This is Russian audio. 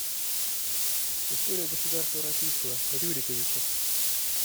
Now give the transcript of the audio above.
история государства российского рюриковичи